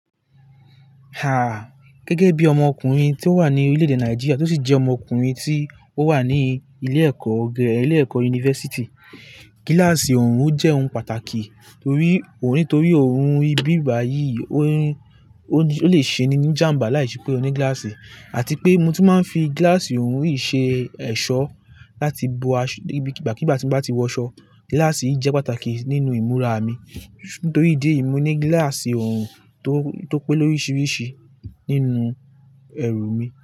Ha! Gẹ́gẹ́ bí ọmọkùnrin tí ó wà ní orílẹ̀ èdè Nàìjíríà tí ó sì jẹ́ ọmọkùnrin tí ó wà ní ilé ẹ̀kọ́ gìgà ilé ẹ̀kọ́ yunifásítì, gíláàsì ọ̀hún jẹ́ ohun pàtàkì torí òun-- nítorí ọ̀hún ibi bà yìí, ọ̀hún, ó lè ṣe ní ní jàmbá láìsí pé o ní gíláàsì àti pé mo tún máa ń fi gíláàsì ọ̀rún yìí ṣe ẹ̀ṣọ́ láti bo aṣó bí, kí bá tí mo bá ti wọ ṣọ. Gíláàsì jẹ́ pàtàkì nínú ìmúra mi. Nítorí ìdí èyí, mo ní gíláàsì ọ̀rún tó, tó pé lórisirísi nínú ẹrù mi.